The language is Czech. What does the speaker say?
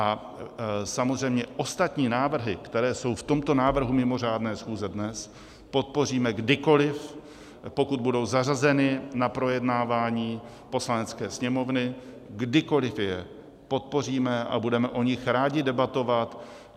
A samozřejmě ostatní návrhy, které jsou v tomto návrhu mimořádné schůze dnes, podpoříme kdykoliv, pokud budou zařazeny na projednávání Poslanecké sněmovny, kdykoliv je podpoříme a budeme o nich rádi debatovat.